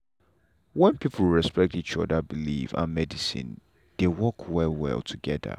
when people respect each other believe and medicine dey work well well together.